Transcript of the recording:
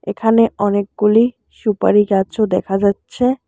এখানে অনেকগুলি সুপারি গাছও দেখা যাচ্ছে।